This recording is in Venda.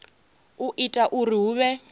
u ita uri hu vhe